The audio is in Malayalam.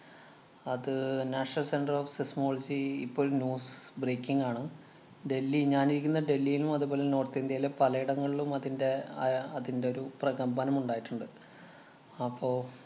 അത് National Centre of Seismology ഇപ്പോ ഒരു news breaking ആണ്. ഡൽഹി ഞാനിരിക്കുന്ന ഡൽഹിയിലും, അതുപോലെ നോര്‍ത്ത് ഇന്ത്യേലെ പലയിടങ്ങളിലും അതിന്‍റെ ആയ അതിന്‍റെ ഒരു പ്രകമ്പനം ഉണ്ടായിട്ടുണ്ട്. അപ്പൊ